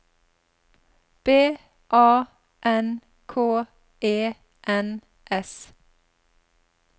B A N K E N S